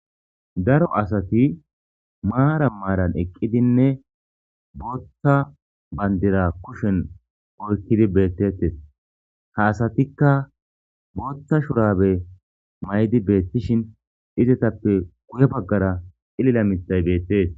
Daro asati maara maaran eqqidinne booththa bandira kushen oykkidi beettettes ha asatikka booththa shurabe may'di beettishin izetappe guye baggara ilila mitay beettees.